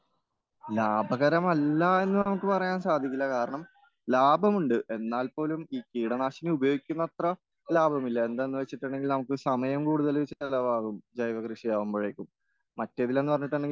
ലാഭകരമല്ലാഎന്ന് നമുക്ക് പറയാൻ സാധിക്കില്ല.കാരണം ലാഭമുണ്ട് എന്നാൽപോലും ഈ കീടനാശിനി ഉപയോഗിക്കുന്നത്രലാഭമില്ല.എന്താന്നുവെച്ചിട്ടുണ്ടെങ്കിൽ നമുക്ക് സമയം കൂടുതൽ ചിലവാകും ജൈവകൃഷിയാകുമ്പഴേക്കും.മറ്റേതിലെന്ന് പറഞ്ഞിട്ടുണ്ടെങ്കിൽ